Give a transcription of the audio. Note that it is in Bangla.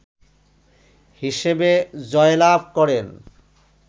হিসেবে জয়লাভ করেন